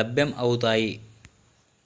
లభ్యం అవుతాయి